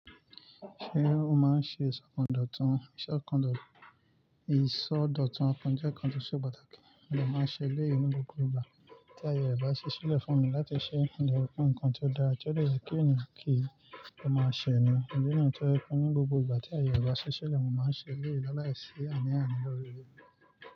Ṣé o máa ń ṣe ìṣọ́nkọńdọ̀tún? Ìṣọ́ nkọ́ńdọ̀tún apọn jẹ́ nǹkan tó ṣe pàtàkì, mo lè máa ń ṣe lẹ́yìn ní gbogbo ìgbà tí ayọ̀ rẹ̀ bá ṣiṣẹ́ lẹ̀ fún mi láti ṣe ǹkan tí ó dára, tí ó dè ye kí ènìyàn kí, o máa ṣe ẹ́ ni. Iyen ni tori pe ní gbogbo ìgbà tí awon eniyan bá n ṣiṣẹ́ na ni won máa ń ṣe eleyii láìsí àní ani lórí rẹ̀